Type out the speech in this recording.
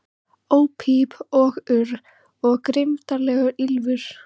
Óp píp og urr, og grimmdarlegt ýlfur.